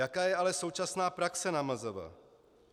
Jaká je ale současná praxe na MZV?